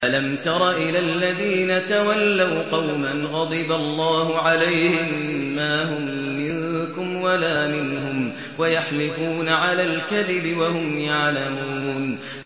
۞ أَلَمْ تَرَ إِلَى الَّذِينَ تَوَلَّوْا قَوْمًا غَضِبَ اللَّهُ عَلَيْهِم مَّا هُم مِّنكُمْ وَلَا مِنْهُمْ وَيَحْلِفُونَ عَلَى الْكَذِبِ وَهُمْ يَعْلَمُونَ